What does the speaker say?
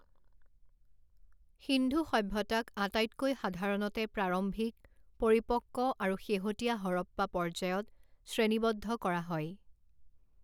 সিন্ধু সভ্যতাক আটাইতকৈ সাধাৰণতে প্ৰাৰম্ভিক, পৰিপক্ব আৰু শেহতীয়া হৰপ্পা পৰ্যায়ত শ্ৰেণীবদ্ধ কৰা হয়।